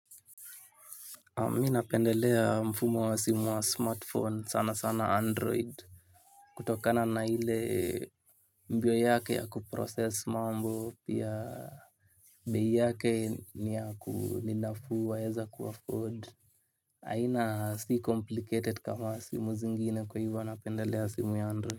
Mimi napendelea mfumo wa simu wa smartphone sana sana android. Kutokana na ile mbio yake ya kuprocess mambo ya bei yake ni nafuu waeza kuafford haina si complicated kama simu zingine kwa hivo napendelea simu ya android.